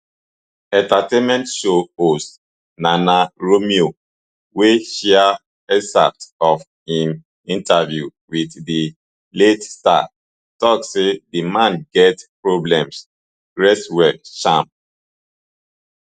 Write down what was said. entertainment show host nana romeo wey share excerpts of im interview wit di late star tok say di man get problems rest well champ